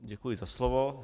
Děkuji za slovo.